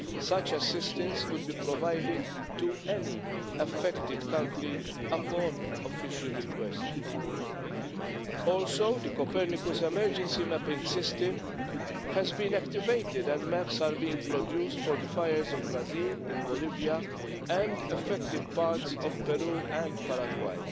Such assistance could be provided to any affected country upon official request. Also, the Copernicus emergency mapping system has been activated and maps are being produced for the fires in Brazil, in Bolivia and affected parts of Peru and Paraguay.